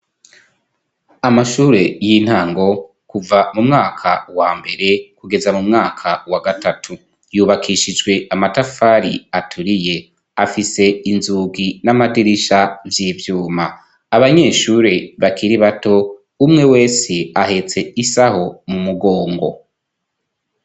Amashure y'intango, kuva mu mwaka wa mbere kugeza mu mwaka wa gatatu, yubakishijwe amatafari aturiye, afise inzugi n'amadirisha vy'ivyuma, abanyeshure bakiri bato umwe wese ahetse isaho mu mugongo.